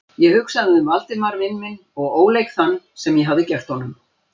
Ég hugsaði um Valdimar vin minn og óleik þann, sem ég hafði gert honum.